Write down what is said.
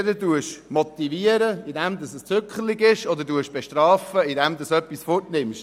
Entweder motivieren Sie, indem Sie Zuckerbrot geben, oder Sie bestrafen, indem Sie etwas wegnehmen.